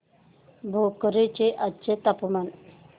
भोकर चे आजचे तापमान